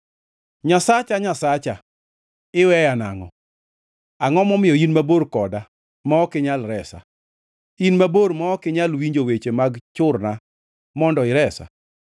Nyasacha, Nyasacha, iweya nangʼo? Angʼo momiyo in mabor koda ma ok inyal resa? In mabor ma ok inyal winjo weche mag churna mondo iresa?